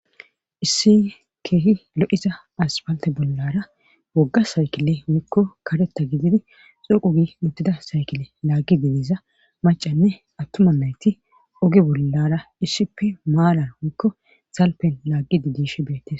issi keehi lo7isa aspalte bollara wogga saykile mikko kareta gididi xoqugi muttida saykile laggi didiza macanne attuma nayti oge bollara issippe maalan wikko salpen laaggi didish beettes